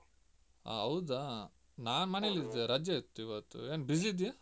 ಆ ಹೌದಾ ನಾನು ಮನೇಲ್ಲಿದ್ದೇ ಇದ್ದೆ ರಜೆ ಇತ್ತು ಇವತ್ತು ಏನ್ busy ಇದ್ಯಾ?